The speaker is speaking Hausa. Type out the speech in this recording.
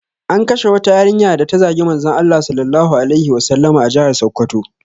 An kashe wata yarinya da ta zagi Manzon Allah Sallallahu alaihi Wasallama a jihar Sokoto